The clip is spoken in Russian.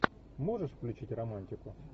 можешь включить романтику